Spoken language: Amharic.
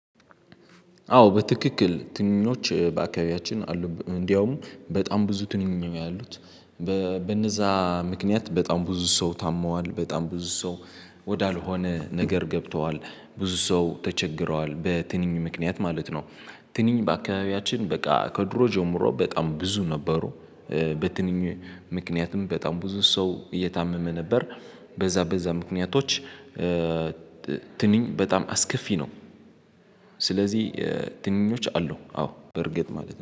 አዎ በትክክል ትንኞች በአካባቢያችን አሉ እንዲያውም በጣም ብዙ ትንኝ ነው ያሉት። በነዛ ምክንያት በጣም ብዙ ሰው ታሟል በጣም ብዙ ሰው ወዳልሆነ ነገር ገብቷል። ብዙ ሰው ተቸግሯል በትንኝ ምክንያት ማለት ነው። ትንኝ በአካባቢያችን በቃ ከድሮ ጀምሮ በጣም ብዙ ነበሩ። በትንኝ ምክንያትም በጣም ብዙ ሰው እየታመመ ነበር። በዛ በዛ ምክንያቶች። ትንኝ በጣም አስከፊ ነው። ስለዚህ ትንኞች አሉ አዎ በእርግጥ ማለት ነው